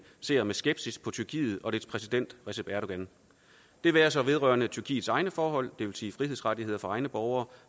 ser med skepsis på tyrkiet og dets præsident recep erdogan det være sig vedrørende tyrkiets egne forhold det vil sige frihedsrettigheder for egne borgere